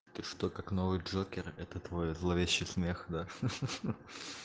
ты что как новый джокер это твой зловещий смех да хаха